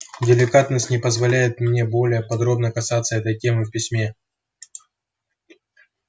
деликатность не позволяет мне более подробно касаться этой темы в письме